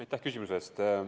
Aitäh küsimuse eest!